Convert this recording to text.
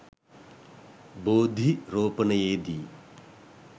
බෝධි රෝපනයේ දී